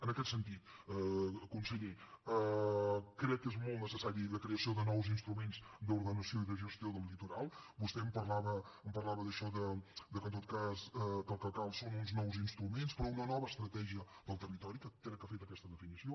en aquest sentit conseller crec que és molt necessària la creació de nous instruments d’ordenació i de gestió del litoral vostè em parlava d’això de que en tot cas el que cal són uns nous instruments però una nova estratègia del territori crec que aquesta definició